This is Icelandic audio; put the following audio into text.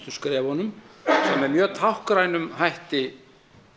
skrefunum sem með mjög táknrænum hætti